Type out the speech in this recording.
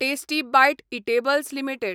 tasty bite eatables limited